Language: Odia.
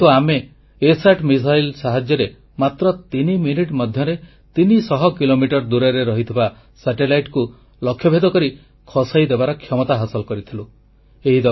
କିନ୍ତୁ ଆମେ ଇସାଟ ମିସାଇଲ୍ ସାହାଯ୍ୟରେ ମାତ୍ର ତିନି ମିନିଟ ମଧ୍ୟରେ ତିନିଶହ କିଲୋମିଟର ଦୂରରେ ଥିବା ସାଟେଲାଇଟକୁ ଲକ୍ଷ୍ୟଭେଦ କରି ଖସାଇଦେବାର କ୍ଷମତା ହାସିଲ କରିଥିଲୁ